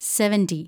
seventy